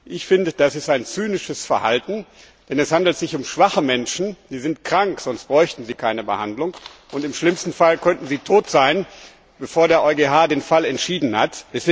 Ich finde, das ist ein zynisches Verhalten, denn es handelt sich um schwache Menschen. Sie sind krank, sonst bräuchten sie keine Behandlung, und im schlimmsten Fall könnten sie tot sein, bevor der EuGH den Fall entschieden hat.